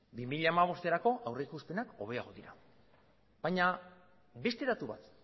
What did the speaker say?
bi mila hamabosterako aurrikuspenak hobeagoak dira baina beste datu bat